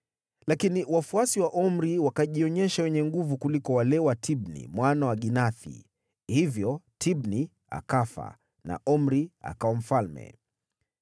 Lakini wafuasi wa Omri wakajionyesha wenye nguvu kuliko wale wa Tibni mwana wa Ginathi. Hivyo Tibni akafa na Omri akawa mfalme.